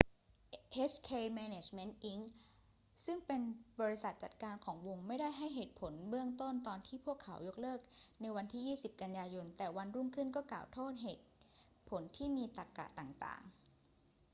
hk management inc ซึ่งเป็นบริษัทจัดการของวงไม่ได้ให้เหตุผลเบื้องต้นตอนที่พวกเขายกเลิกในวันที่ 20 กันยายน แต่วันรุ่งขึ้นก็กล่าวโทษเหตุผลที่มีตรรกะต่าง ๆ